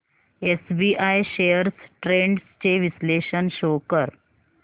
SBI shares trends चे विश्लेषण show कर